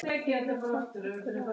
Hlýjar þakkir fyrir allt.